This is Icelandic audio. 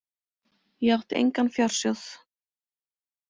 Ég átti engan fjársjóð.